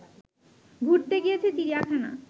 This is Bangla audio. ঘুরতে গিয়েছে চিড়িয়াখানা